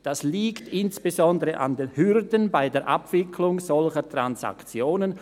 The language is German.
«Das liegt insbesondere an [den] Hürden bei der Abwicklung solcher Transaktionen: